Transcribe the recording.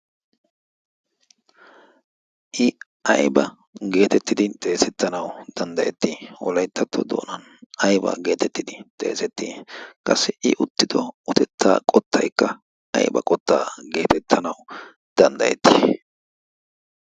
i ayba gettettidi xeesetanawu danddayetti wollayttatto doonan aybaa geettetti xeseettii? qassi i uttido uttettaa ayba qottaa gettettanawu danddayettii?